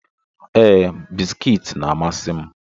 Ee, bisikiiti na-amasị m.